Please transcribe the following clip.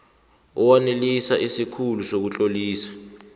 owanelisa isikhulu sokutlolisa